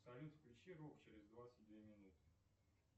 салют включи рок через двадцать две минуты